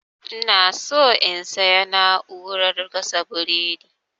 inaso in sayi na'urar gasa burodi